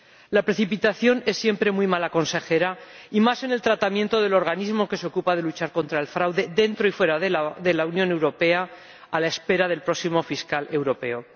La precipitación es siempre muy mala consejera, y más en el tratamiento del organismo que se ocupa de luchar contra el fraude dentro y fuera de la Unión Europea, a la espera del próximo Fiscal Europeo.